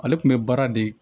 Ale tun bɛ baara de